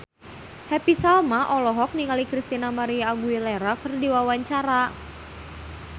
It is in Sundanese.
Happy Salma olohok ningali Christina María Aguilera keur diwawancara